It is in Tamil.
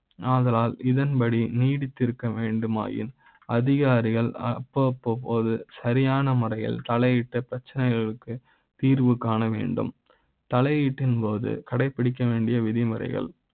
அதனால் இதன்படி நீடித்து இருக்க வேண்டுமா யின் அதிகாரிகள் அப்ப போது சரியான முறையில் தலையிட்ட பிரச்சனைகளுக்கு தீர்வு காண வேண்டும் தலை யீட்டின் போது கடைபிடிக்க வேண்டிய விதிமுறைகள்